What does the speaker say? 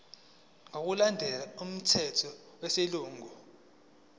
ngokulandela umthetho wesilungu